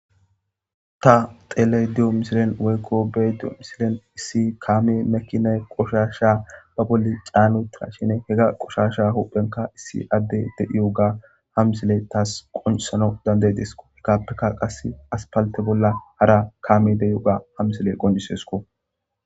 ta tele diyo misilen weykko bediyo misilen issi kaame mekiney qoshasha ba boli caanuta shine hega qoshasha huphenka issi adde deiyu ga hamisile taas qonusano dandey desko hekappeka qass as palte bolla hara kaame de7iu ga hamisile qonjisesko